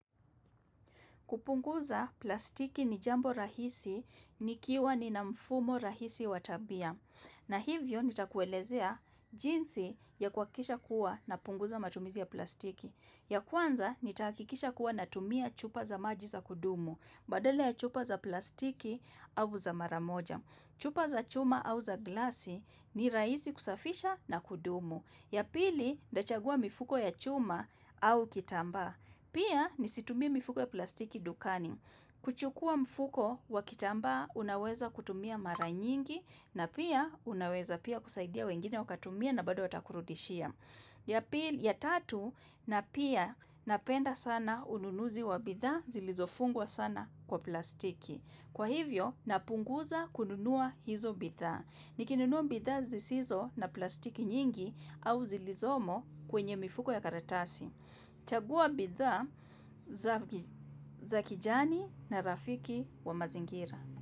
Kupunguza plastiki ni jambo rahisi nikiwa nina mfumo rahisi wa tabia. Na hivyo nitakuelezea jinsi yakuhakikisha kuwa napunguza matumizi ya plastiki. Ya kwanza nitahakikisha kuwa natumia chupa za maji za kudumu. Badala ya chupa za plastiki au za mara moja. Chupa za chuma au za glasi ni rahisi kusafisha na kudumu. Ya pili nitachagua mifuko ya chuma au kitambaa. Pia nisitumie mifuko ya plastiki dukani. Kuchukua mfuko wakitamba unaweza kutumia mara nyingi na pia unaweza pia kusaidia wengine wakatumia na bado watakurudishia. Ya pili ya tatu na pia napenda sana ununuzi wa bidhaa zilizofungwa sana kwa plastiki. Kwa hivyo napunguza kununua hizo bidhaa. Nikinunua bidha zisizo na plastiki nyingi au zilizomo kwenye mifuko ya karatasi. Chagua bidhaa za kijani na rafiki wa mazingira.